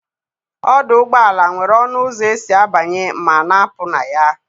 Ọdụ ụgbọala nwere ọnụ ụzọ esi abanye ma na-apụ na ya.